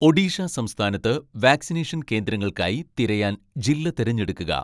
ഒഡീഷ സംസ്ഥാനത്ത് വാക്സിനേഷൻ കേന്ദ്രങ്ങൾക്കായി തിരയാൻ ജില്ല തിരഞ്ഞെടുക്കുക